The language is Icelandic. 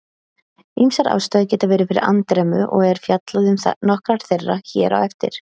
Ýmsar ástæður geta verið fyrir andremmu og er fjallað um nokkrar þeirra hér á eftir.